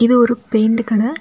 இது ஒரு பெயிண்ட் கடை.